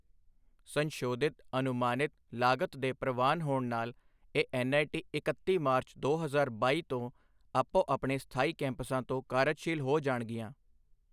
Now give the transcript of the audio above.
ਸੰਸ਼ੋਧਿਤ ਅਨੁਮਾਨਿਤ ਲਾਗਤ ਦੇ ਪ੍ਰਵਾਨ ਹੋਣ ਨਾਲ ਇਹ ਐੱਨਆਈਟੀ ਇਕੱਤੀ ਮਾਰਚ ਦੋ ਹਜ਼ਾਰ ਬਾਈ ਤੋਂ ਆਪੋ ਆਪਣੇ ਸਥਾਈ ਕੈਂਪਸਾਂ ਤੋਂ ਕਾਰਜਸ਼ੀਲ ਹੋ ਜਾਣਗੀਆਂ।